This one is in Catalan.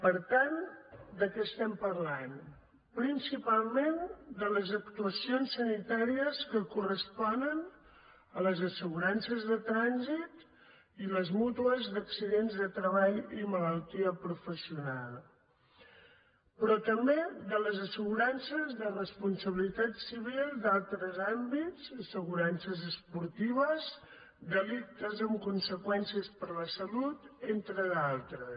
per tant de què estem parlant principalment de les actuacions sanitàries que corresponen a les assegurances de trànsit i les mútues d’accidents de treball i malaltia professional però també de les assegurances de responsabilitat civil d’altres àmbits assegurances esportives delictes amb conseqüències per a la salut entre d’altres